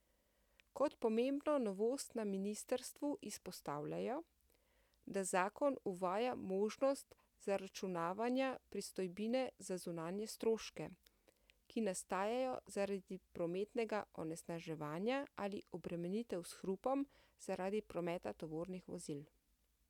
Kot pomembno novost na ministrstvu izpostavljajo, da zakon uvaja možnost zaračunavanja pristojbine za zunanje stroške, ki nastajajo zaradi prometnega onesnaževanja ali obremenitev s hrupom zaradi prometa tovornih vozil.